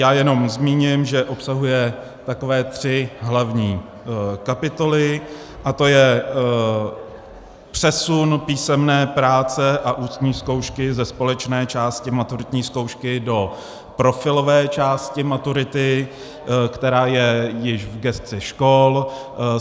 Já jenom zmíním, že obsahuje takové tři hlavní kapitoly, a to je přesun písemné práce a ústní zkoušky ze společné části maturitní zkoušky do profilové části maturity, která je již v gesci škol.